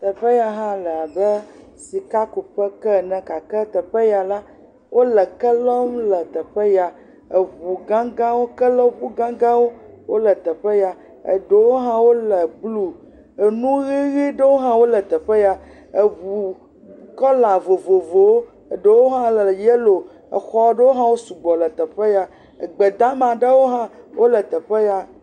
Teƒe ya hã le abe sikakuƒe ke ene gake teƒe ya la, wole ke lɔm le teƒe ya eŋugãgã kelɔŋu gãgãwo wole teƒe ya eɖewo le blue nu ʋeʋe ɖewo hã wole teƒe ya eŋu kɔla vovovowo eɖewo hã le yellow exɔ ɖewo hã wosugbɔ le teƒe ya egbe damawo hã le teƒe ya.